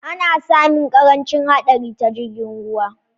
Ana sami ƙarancin haɗari ta jirgin ruwa